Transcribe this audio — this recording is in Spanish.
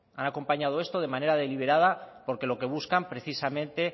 han acompañado esto de manera deliberada porque lo que buscan precisamente